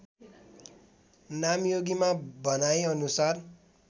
नामयोगीमा भनाइ अनुसार